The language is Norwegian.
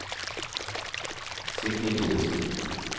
Signy Thorsen